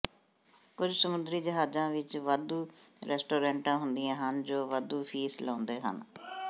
ਕੁਝ ਸਮੁੰਦਰੀ ਜਹਾਜ਼ਾਂ ਵਿਚ ਵਾਧੂ ਰੈਸਟੋਰੈਂਟਾਂ ਹੁੰਦੀਆਂ ਹਨ ਜੋ ਵਾਧੂ ਫੀਸ ਲਾਉਂਦੇ ਹਨ